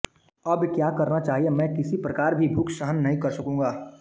अब क्या करना चाहिए मैं किसी प्रकार भी भूख सहन नहीं कर सकूँगा